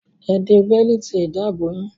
Ẹ de bẹ́lììtì ìdáàbò yín!